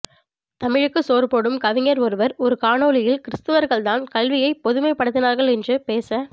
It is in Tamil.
தமிழுக்கு சோறுபோடும் கவிஞர் ஒருவர் ஒரு காணொளியில் கிருஸ்துவர்கள்தான் கல்வியை பொதுமைப்படுத்தினார்கள் என்று பேச